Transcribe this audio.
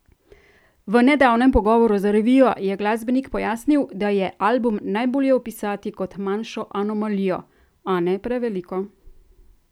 V nedavnem pogovoru za revijo je glasbenik pojasnil, da je album najbolje opisati kot manjšo anomalijo: "A ne preveliko.